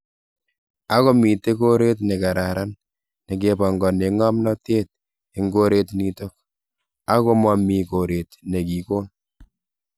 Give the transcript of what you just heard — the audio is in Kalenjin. Ako mitei koret ne kararan neke ba ngene ngamnatet eng koret nitok, ako ma mi koret nekikon .